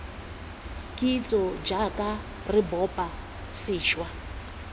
kitso jaaka re bopa sešwa